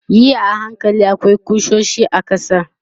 yi a hankali akwai kusoshi a ƙasa